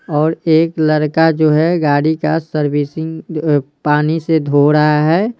और एक लड़का जो हैगाड़ी का सर्विसिंग पानी से धो रहा है।